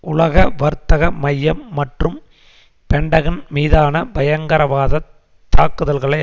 உலக வர்த்தக மையம் மற்றும் பென்டகன் மீதான பயங்கரவாதத் தாக்குதல்களை